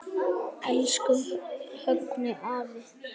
Elsku Högni afi.